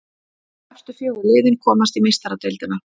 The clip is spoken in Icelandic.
Efstu fjögur liðin komast í Meistaradeildina.